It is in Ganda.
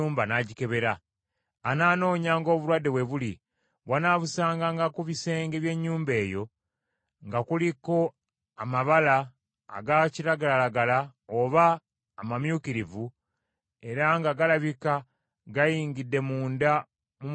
Anaanoonyanga obulwadde we buli; bw’anaabusanganga ku bisenge by’ennyumba eyo, nga kuliko amabala aga kiragalalagala oba amamyukirivu, era nga galabika gayingidde munda mu mubiri gw’ekisenge,